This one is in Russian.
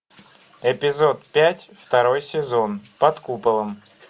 эпизод пять второй сезон под куполом